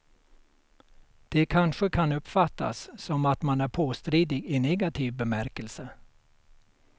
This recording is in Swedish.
Det kanske kan uppfattas som att man är påstridig i negativ bemärkelse.